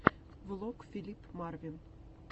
влог филип марвин